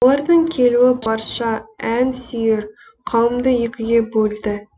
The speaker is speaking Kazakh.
олардың келуі барша ән сүйер қауымды екіге бөлді